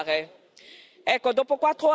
Abbiamo tanta strada da fare.